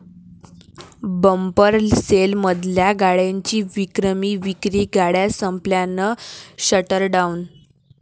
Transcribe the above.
bumper सेलमधल्या गाड्यांची विक्रमी विक्री, गाड्या संपल्यानं 'शटरडाऊन'